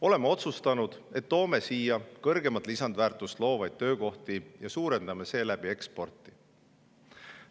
Oleme otsustanud, et toome siia kõrgemat lisandväärtust loovaid töökohti ja suurendame seeläbi eksporti.